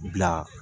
Bila